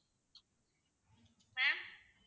ma'am